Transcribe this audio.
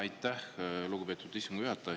Aitäh, lugupeetud istungi juhataja!